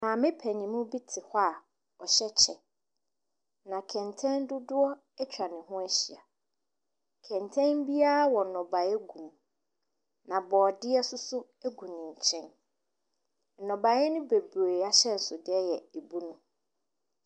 Maame paninmu bi tena hɔ a ɔhyɛ kyɛ, na kɛntɛn dodoɔ bi nso atwa ne ho ahyia. Kɛntɛn biara wɔ nnɔbaeɛ gu mu na borɔdeɛ nso gu ne nkyɛn. Nnɔbaeɛ no bebree ahyɛnsodeɛ yɛ abunu.